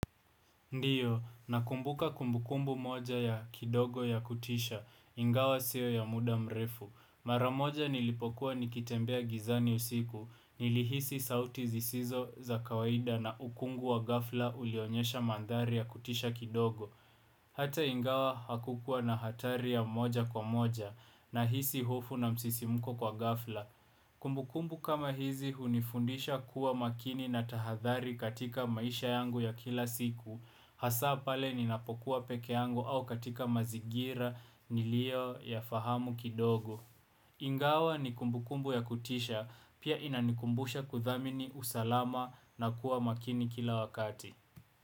Ndiyo, nakumbuka kumbukumbu moja ya kidogo ya kutisha, ingawa sio ya muda mrefu. Mara moja nilipokuwa nikitembea gizani usiku, nilihisi sauti zisizo za kawaida na ukungu wa ghafla ulionyesha mandhari ya kutisha kidogo. Hata ingawa hakukua na hatari ya moja kwa moja nahisi hofu na msisimko kwa ghafla. Kumbukumbu kama hizi hunifundisha kuwa makini na tahadhari katika maisha yangu ya kila siku. Hasa pale ninapokuwa peke yangu au katika mazigira nilioyafahamu kidogo. Ingawa ni kumbukumbu ya kutisha pia inanikumbusha kuthamini usalama na kuwa makini kila wakati.